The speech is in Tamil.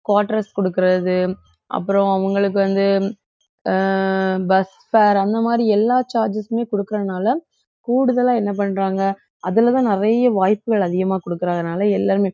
quarters கொடுக்கிறது அப்புறம் அவங்களுக்கு வந்து அஹ் bus fare அந்த மாதிரி எல்லா charges சுமே கொடுக்கிறதுனால கூடுதலா என்ன பண்றாங்க அதுலதான் நிறைய வாய்ப்புகள் அதிகமா கொடுக்கிறதுனால எல்லாருமே